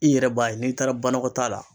I yɛrɛ b'a ye n'i taara banakɔtaa la.